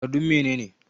Takardun mene ne?